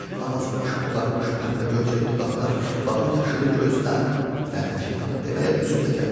Avazımış, boğarmış, pənbəgöyçək dodaqlar, və o yaşılı gözlər, lənət şeytana deməyə üzüm də gəlmir.